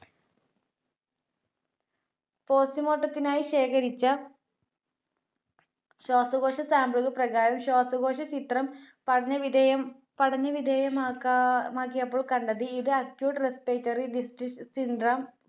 Postmortem ത്തിനായി ശേഖരിച്ച ശ്വാസകോശ sample പ്രകാരം ശ്വാസകോശചിത്രം പഠനവിധേയം പഠനവിധേയമാക്ക~മാക്കിയപ്പോൾ കണ്ടത് ഇത് Acute Respiratory Disease Syndrome